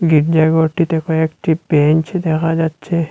গির্জাঘরটিতে কয়েকটি বেঞ্চ দেখা যাচ্ছে।